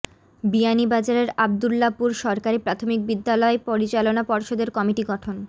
বিয়ানীবাজারের আব্দুল্লাপুর সরকারি প্রাথমিক বিদ্যালয় পরিচালনা পর্ষদের কমিটি গঠন